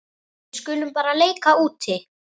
Við skulum bara leika úti.